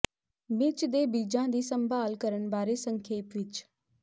ਮਿਰਚ ਦੇ ਬੀਜਾਂ ਦੀ ਸੰਭਾਲ ਕਰਨ ਬਾਰੇ ਸੰਖੇਪ ਵਿਚ